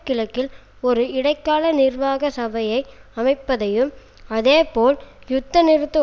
கிழக்கில் ஒரு இடைக்கால நிர்வாக சபையை அமைப்பதையும் அதேபோல் யுத்த நிறுத்த